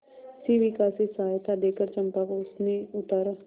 शिविका से सहायता देकर चंपा को उसने उतारा